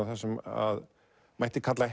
það sem mætti kalla